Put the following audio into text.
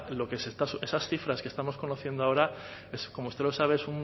esas cifras que estamos conociendo ahora como usted lo sabe